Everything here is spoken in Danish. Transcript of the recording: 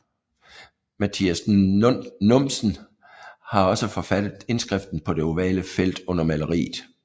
Matias Numsen har også forfattet indskriften på det ovale felt under maleriet